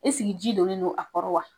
Ɛseki ji donnen don a kɔrɔ wa ?